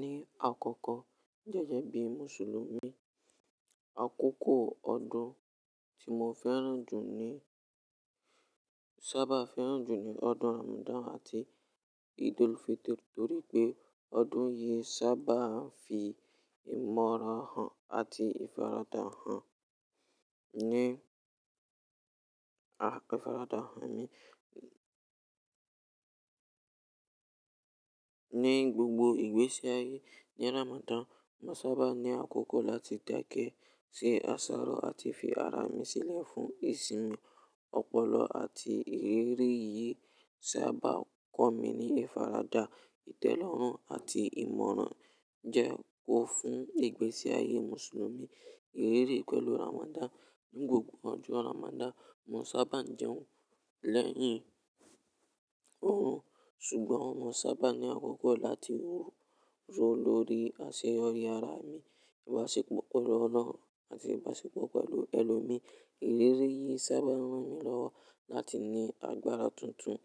Ní àkọkọ, gẹ́gẹ́ bí Mùsùlùmí, àkókò ọdún tí mo fẹ́ràn jù ní sábà fẹ́ràn jù ni ọdún Ramadan àti Eid-ul-Fitr nítorí pé ọdún yìí sábà ń fi ìmọ̀ràn han àti ìfaradà hàn ní, ìfaradà hàn ní gbogbo ìgbése ayé. Ní Ramadan, mo sábà ní àkókò láti dákẹ́ sí àsáró àti fi ara mi sílẹ̀ fún ìsinmi, ọpọlọ àti ìrírí yìí sábà kọ́ mi ní ìfaradà, ìtẹ́lọ́rùn àti ìmọ̀ràn jẹ kó fún ìgbésí ayé Mùsùlùmí. Ìrírí pẹ̀lú Ramadan. Ní gbogbo ọjọ́ Ramadan, mo sábà jẹun lẹ́yìn òórùn, ṣùgbọ́n mo sábà ní àkókò láti rọ̀ lórí àṣeyọrí ara mi, ìbáṣepọ̀ pẹ̀lú Ọlọ́run àti ìbáṣepọ̀ pẹ̀lú ẹlòmíí. Ìrírí yìí sábà rán mi lọ́wọ́ láti ní agbára tuntun,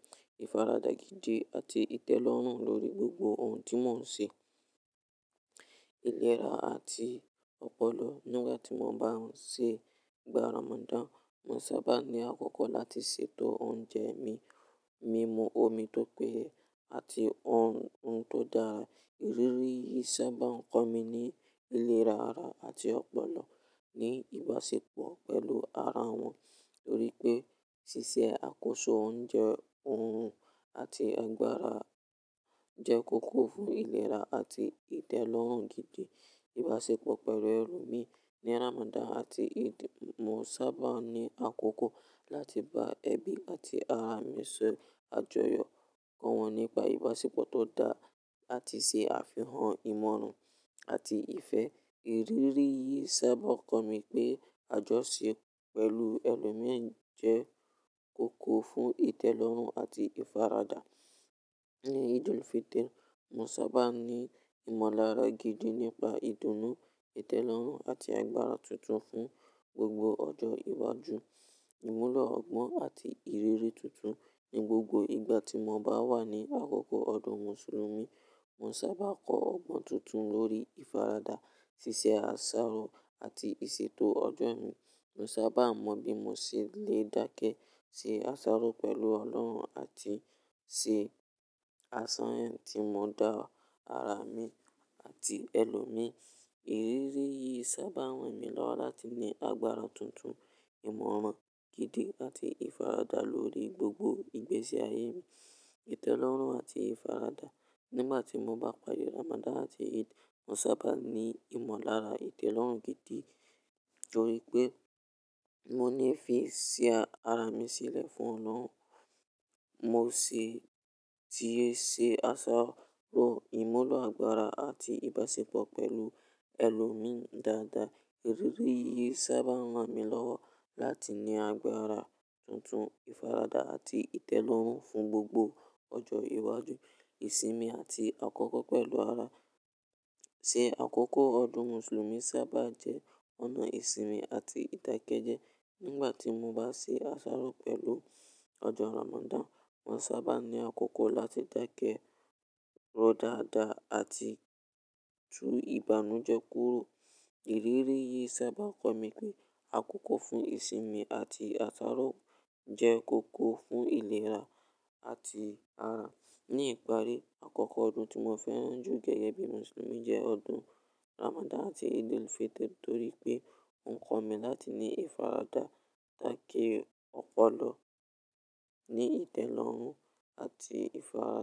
ìfaradà gidi àti ìtẹ́lọ́rùn lórí gbogbo ohun tí mò ń ṣe. Ilé ra àti ọpọlọ. Nígbà tí mo bá ń ṣe ìgbà Ramadan, mo sábà ní àkókò láti ṣètò oúnjẹ mi, mímu omi tó péye àti ohun tó dára. Ìrírí yìí sábà ń kọ́ mi ní ìlera ara àti ọpọlọ ní ìbáṣepọ̀ pẹ̀lú ara wọn, torí pé ṣíṣe àkóso oúnjẹ òórùn àti agbára jẹ́ kókó fún ìlera àti ìtẹ́lọ́rùn gidi. Ìbáṣepọ̀ pẹ̀lú ẹlòmíí ní Ramadan àti Eid, mo sábà ní àkókò láti bá ẹbí àti ará mi ṣe àjọyọ̀, kọ́ wọn nípa ìbáṣepọ̀ tó dáa àti ṣe àfihàn ìmọ̀ràn àti ìfẹ́. Ìrírí yìí sábà ń kọ́ mi pé àjọṣe pẹ̀lú ẹlòmíí jẹ́ kókó fún ìtẹ́lọ́rùn àti ìfaradà. Ní Eid-el-Fitr, mo sábà ní ìmọ̀lára gidi nípa ìdùnnú, ìtẹ́lọ́rùn àti agbára tuntun fún gbogbo ọjọ́ iwájú. Ìmúlọ̀ ọgbọ́n àti ìrírí tuntun. Ní gbogbo ìgbà tí mo bá wà ní àkókò ọdún Mùsùlùmí, mo sábà kọ ọgbọ́n tuntun lórí ìfaradà, ṣíṣe àsáró àti ìṣètò ọjọ́ mi. Mo sábà mọ bí mo ṣe lè dákẹ́ sí àsáró pẹ̀lú Ọlọ́run àti ṣe àṣàyàn tí mọ dá ara mi àti ẹlòmíí. Ìrírí yìí sábà rán mi lọ́wọ́ láti ní agbára tuntun, ìmọ̀ràn gidi àti ìfaradà lórí gbogbo ìgbésí ayé mi. Ìtẹ́lọ́rùn àti ìfaradà. Nígbà tí mo bá pari Ramadan àti Eid, mo sábà ní ìmọ̀lára ìtẹ́lọ́rùn gidi torí pé mo ní ìfẹ́ sí ara mi sílẹ̀ fún Ọlọ́run, mo sì ti ṣe àsáró, ìmúlọ̀ agbára àti ìbáṣepọ̀ pẹ̀lú ẹlòmíí dáadáa. Ìrírí yìí sábà ń rán mi lọ́wọ́ láti ní agbára tuntun, ìfaradà àti ìtẹ́lọ́rùn fún gbogbo ọjọ́ iwájú. Ìsinmi àti àkókò pẹ̀lú ara. Ṣe àkókò ọdún Mùsùlùmí sábà jẹ́ ọ̀nà ìsinmi àti ìdàkẹ́jẹ́. Nígbà tí mo bá ṣe àsáró pẹ̀lú ọjọ́ Ramadan, mo sábà ní àkókò láti dákẹ́, rọ̀ dáadáa àti tú ìbànújẹ́ kúrò. Ìrírí yìí sábà ń kọ́ mi pé àkókò fún ìsinmi àti àsáró jẹ́ kókó fún ìlera àti ara. Ní ìparí, àkókò ọdún tí mo fẹ́ràn jù gẹ́gẹ́ bí Mùsùlùmí jẹ́ ọdún Ramadan àti Eid-ul-Fitr nítorí pé ó ń kọ́ mi láti ní ìfaradà, ìdákẹ́, ọpọlọ ní ìtẹ́lọ́rùn àti ìfaradà.